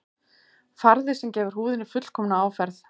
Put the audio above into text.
Farði sem gefur húðinni fullkomna áferð